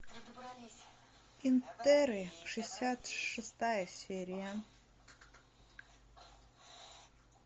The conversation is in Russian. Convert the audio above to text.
интерны шестьдесят шестая серия